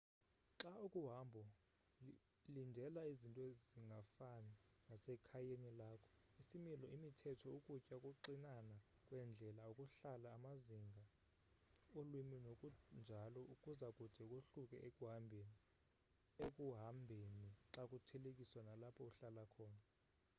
xa ukuhambo lindela izinto zingafani nasekhayeni lakho isimilo imithetho ukutya ukuxinana kweendlela ukuhlala amazinga ulwimi nokunjalo kuzakude kohluke ekuhambheni xakuthelekiswa nalapho uhlala khona